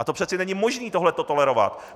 A přeci není možné tohle to tolerovat.